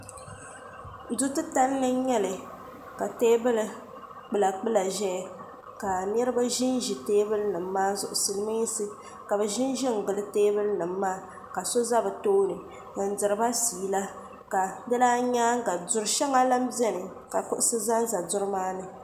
do ti talini n nyɛli ka tɛbuli gba ʒɛya ka niriba ʒɛ tɛbuli nimaa zuɣ' siliminsi la bɛ ʒɛʒɛngili tɛbuli nimaa ka so za be tuni n diriba ƒɛla ka di lan nyɛŋa dori shɛŋa gba lan bɛni kusi zanza dori maani